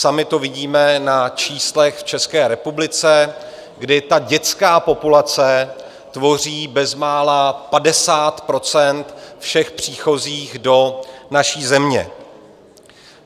Sami to vidíme na číslech v České republice, kdy ta dětská populace tvoří bezmála 50 % všech příchozích do naší země.